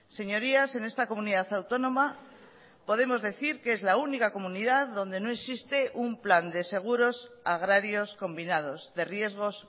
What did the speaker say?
señorías en esta comunidad autónoma podemos decir que es la única comunidad donde no existe un plan de seguros agrarios combinados de riesgos